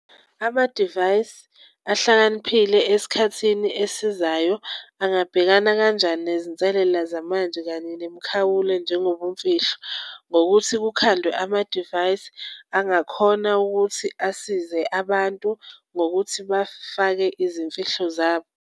Amadivayisi ahlakaniphile esikhathini esizayo abangabhekana kanjani nezinselela zamanje kanye nemikhawulo njengobumfihlo? Ngokuthi kukhandwe amadivayisi angakhona ukuthi asize abantu ngokuthi bafake izimfihlo zabo.